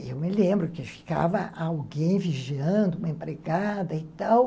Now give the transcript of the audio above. Eu me lembro que ficava alguém vigiando, uma empregada e tal.